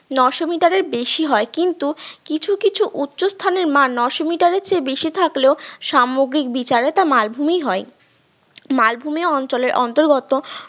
নশো meter এর বেশি হয় কিন্তু কিছু কিছু উচ্চস্থানের মান নশো meter এর চেয়েও বেশি থাকলেও সামগ্রিক বিচারে তা মালভূমি হয়মালভূমি অঞ্চলের অন্তর্গত